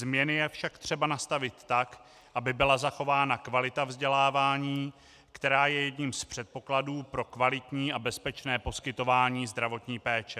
Změny je však třeba nastavit tak, aby byla zachována kvalita vzdělávání, která je jedním z předpokladů pro kvalitní a bezpečné poskytování zdravotní péče.